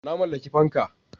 Na mallaki fanka.